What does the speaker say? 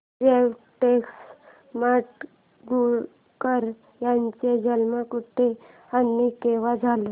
व्यंकटेश माडगूळकर यांचा जन्म कुठे आणि केव्हा झाला